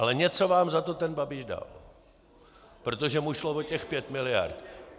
Ale něco vám za to ten Babiš dal, protože mu šlo o těch pět miliard.